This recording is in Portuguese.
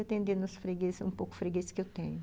E atendendo os freguês, um pouco os freguês que eu tenho.